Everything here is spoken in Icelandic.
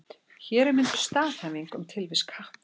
Hér er mynduð staðhæfing um tilvist katta.